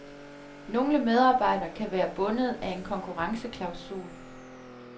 Nogle medarbejdere kan være bundet af en konkurrenceklausul.